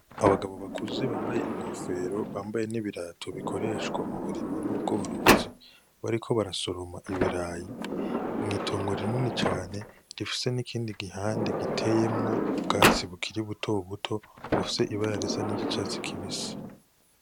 Abagabo bakuze bambaye inkofero bambaye n'ibirato bikoreshwa uburimyi n'ubworozi; bariko barasoroma ibirayi mw'itongo rinini cane rifise n'ikindi gihande giteyemwo ubwatsi bukiri butobuto bufise ibara risa n'iry'icatsi kibisi.